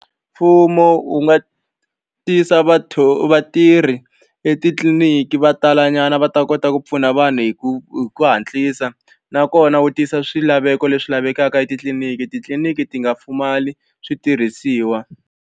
Mfumo wu nga tisa vatirhi etitliliniki va talanyana va ta kota ku pfuna vanhu hi ku hi ku hatlisa nakona wu tisa swilaveko leswi lavekaka etitliniki, titliliniki ti nga pfumali switirhisiwa.